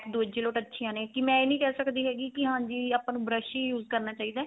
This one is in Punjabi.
ਦੂਜੇ ਲੋਟ ਅੱਛੀਆ ਨੇ ਕੀ ਮੈਂ ਇਹ ਨਹੀਂ ਕਿਹ ਸਕਦੀ ਕੀ ਹਾਂਜੀ ਆਪਾਂ ਨੂੰ brush ਈ use ਕਰਨਾ ਚਾਹੀਦਾ